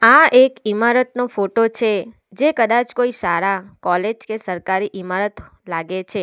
આ એક ઇમારતનો ફોટો છે જે કદાચ કોઈ શાળા કોલેજ કે સરકારી ઇમારત લાગે છે.